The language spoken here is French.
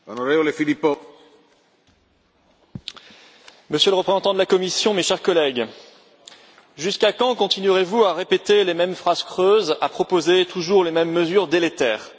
Monsieur le Président, Monsieur le représentant de la Commission, mes chers collègues, jusqu'à quand continuerez vous à répéter les mêmes phrases creuses, à proposer toujours les mêmes mesures délétères?